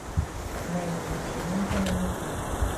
мэни вечеринка на ютуб